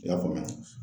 I y'a faamuya